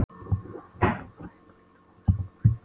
Hann er búfræðingur og lítur á okkur sem búfénað.